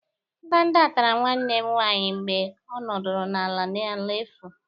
Ndanda tara nwanne m ụnyaahụ mgbe ọ nọdụrụ ala n'ala efu.